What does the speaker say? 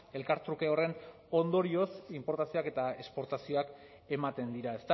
elkartruke horren ondorioz inportazioak eta esportazioak ematen dira